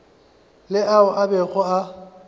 le ao a bego a